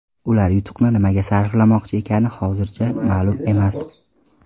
Ular yutuqni nimaga sarflamoqchi ekani hozircha ma’lum emas.